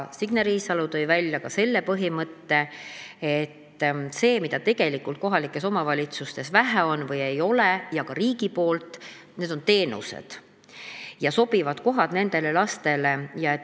Signe Riisalo tõi välja ka selle põhimõtte, et see, mida tegelikult kohalikes omavalitsustes on vähe või ei olegi ja mida on vähe ka riigi poolt, need on teenused ja sobivad kohad nendele lastele.